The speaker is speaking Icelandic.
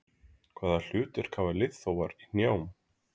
Hvaða hlutverk hafa liðþófar í hnjám?